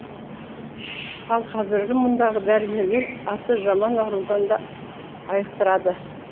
ал қазіргі мұндағы дәрігерлер аты жаман аурудан да айықтырады